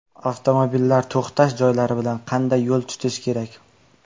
Avtomobillar to‘xtash joylari bilan qanday yo‘l tutish kerak?